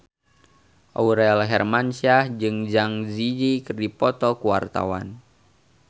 Aurel Hermansyah jeung Zang Zi Yi keur dipoto ku wartawan